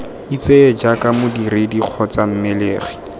itseye jaaka modiredi kgotsa mmelegi